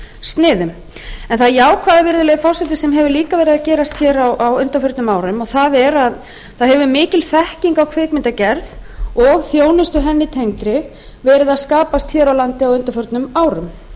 sniðum en það jákvæða virðulegi forseti sem hefur líka verið að gerast hér á undanförnum árum það er að það hefur mikil þekking á kvikmyndagerð og þjónustu henni tengdri verið að skapast hér á landi á undanförnum árum